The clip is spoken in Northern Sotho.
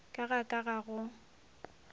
ka ga ka ga go